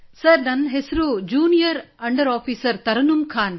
sir ನನ್ನ ಹೆಸರು junior under officer Tarannum Khan